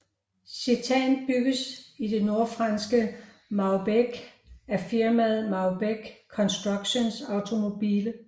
Citan bygges i det nordfranske Maubeuge af firmaet Maubeuge Construction Automobile